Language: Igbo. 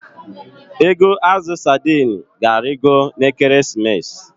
Ego azụ sadi ịnụ ga-arịgo n'Ekeresimesi.